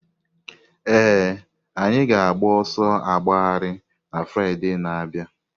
Ee, anyị ga-agba ọsọ agbagharị na Fraịde na-abịa.